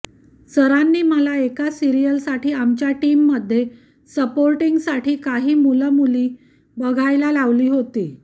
सरांनी मला एका सिरिअलसाठी आमच्या टीममध्ये सपोर्टींगसाठी काही मुलंमुलीं बघायला लावली होती